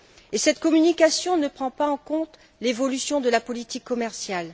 Et cette communication ne prend pas en compte l'évolution de la politique commerciale.